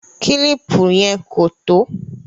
Kílìpù yẹn kò tó